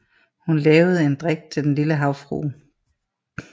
Hun lavede en drik til Den lille havfrue